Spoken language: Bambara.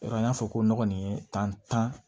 Yɔrɔ n y'a fɔ ko n ɲɔgɔn kɔni ye tan